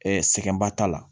sɛgɛnba t'a la